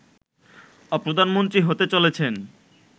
প্রধানমন্ত্রী হতে চলেছেন